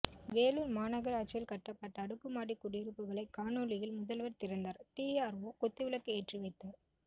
வேலூர் மாநகராட்சியில் கட்டப்பட்ட அடுக்குமாடி குடியிருப்புகளை காணொலியில் முதல்வர் திறந்தார் டிஆர்ஓ குத்துவிளக்கு ஏற்றி வைத்தார்